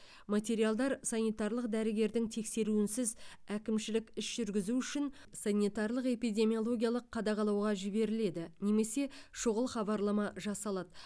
материалдар санитарлық дәрігердің тексеруінсіз әкімшілік іс жүргізу үшін санитарлық эпидемиологиялық қадағалауға жіберіледі немесе шұғыл хабарлама жасалады